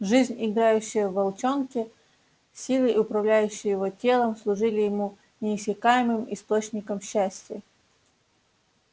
жизнь играющая в волчонке силы управляющие его телом служили ему неиссякаемым источником счастья